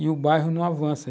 E o bairro não avança.